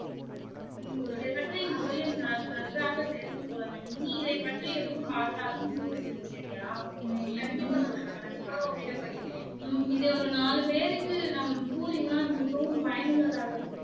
ம்ம் இதை பற்றி முதலில் நன்றாக தெரிந்து கொள்ள வேண்டும் நீ இதை பற்றி எதும் பார்த்தாலும் கூறி விடு சரியா ம் இதை ஒரு நாலு பெருக்கு நாம் கூறினால் மிகவும் பயன் உள்ளதாக இருக்கும்